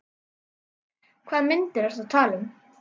Hvaða myndir ertu að tala um?